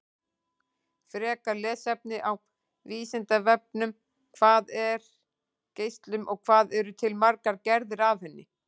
Frekara lesefni á Vísindavefnum: Hvað er geislun og hvað eru til margar gerðir af henni?